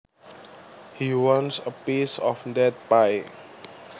He wants a piece of that pie